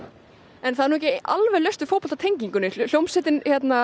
en það er ekki alveg laust við fótboltatenginguna hljómsveitin